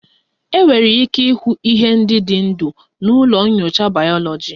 Enwere ike ịhụ ihe ndị dị ndụ na ụlọ nyocha bayoloji